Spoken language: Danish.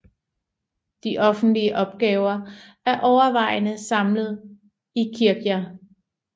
De offentlige opgaver er overvejende samlet i Kirkja